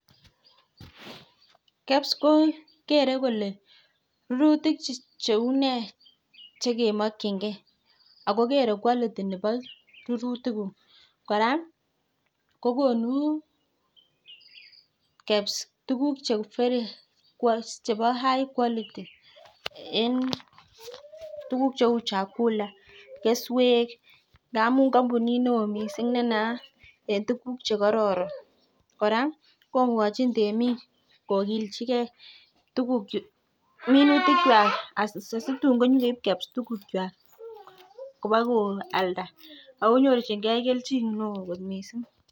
KEBS ko kere kole rurutik cheu nee che kemokinge? Ago kere quality nebo rurutikuk kora ko konu KEBS tuguk chebo high